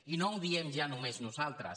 i no ho diem ja només nosaltres